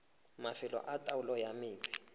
mafelo a taolo ya metsi